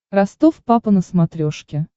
ростов папа на смотрешке